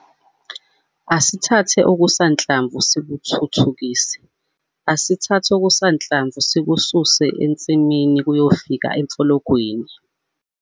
Asithathe okusanhlamvu sikuthuthukise, asithathe okusanhlamvu sikususe ensimini kuyofika emfologweni.